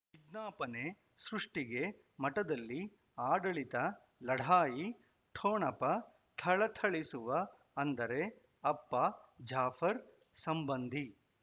ವಿಜ್ಞಾಪನೆ ಸೃಷ್ಟಿಗೆ ಮಠದಲ್ಲಿ ಆಡಳಿತ ಲಢಾಯಿ ಠೊಣಪ ಥಳಥಳಿಸುವ ಅಂದರೆ ಅಪ್ಪ ಜಾಫರ್ ಸಂಬಂಧಿ